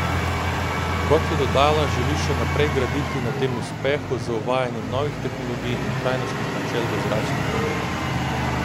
Kot je dodala, želi še naprej graditi na tem uspehu z uvajanjem novih tehnologij in trajnostnih načel v zračnem prometu.